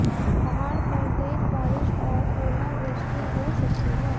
पहाड़ पर तेज बारिश और ओलावृष्टि हो सकती है